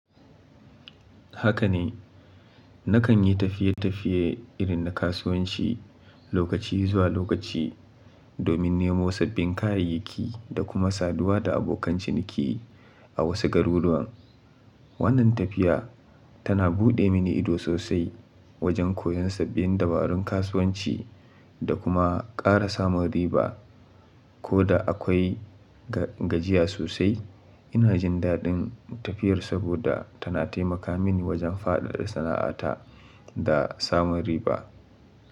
Haka ne, na kan yi tafiye-tafiye irin na kasuwanci, lokaci zuwa lokaci domin nemo sabbin kayayyaki, da kuma saduwa da abokan ciniki a wasu garuruwan. Wannan tafiya tana buɗe mini ido sosai, wajen koyon sabbin dabarun kasuwanci da kuma ƙara samun riba. Koda akwai gajiya sosai, ina jin daɗin tafiyar saboda tana taimaka mini wajen faɗaɗa sana'ata da samun riba.